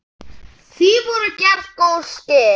Því voru gerð góð skil.